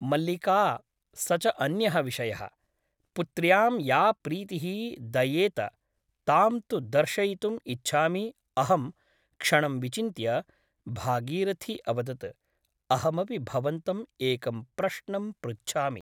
मल्लिका स च अन्यः विषयः । पुत्र्यां या प्रीतिः दयेंत तां तु दर्शयितुम् इच्छामि अहम् क्षणं विचिन्त्य भागीरथी अवदत् अहमपि भवन्तम् एकं प्रश्नं पृच्छामि ।